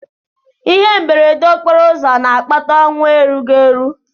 Ihe mberede okporoụzọ na-akpata ọnwụ erughị eru.